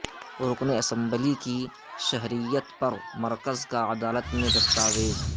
رکن اسمبلی کی شہریت پر مرکز کا عدالت میں دستاویز